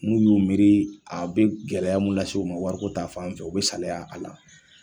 N'u y'u miiri a bɛ gɛlɛya mun las'u ma wari ko ta fan fɛ, u bɛ salaya a la.